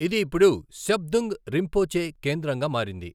ఇది ఇప్పుడు శబ్దుంగ్ రింపోచే కేంద్రంగా మారింది.